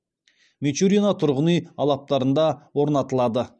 мичурино тұрғын үй алаптарында орнатылады